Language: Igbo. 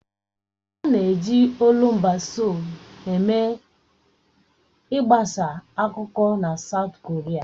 A na-eji olumba Seoul eme ị gbasa akụkọ na Saụt Koria.